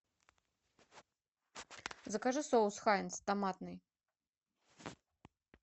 закажи соус хайнц томатный